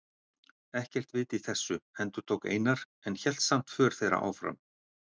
Ekkert vit í þessu, endurtók Einar en hélt samt för þeirra áfram.